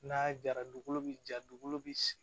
N'a jara dugukolo bi ja dugukolo bi